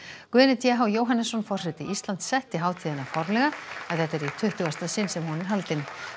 Guðni t h Jóhannesson forseti Íslands setti hátíðina formlega en þetta er í tuttugasta sinn sem hún er haldin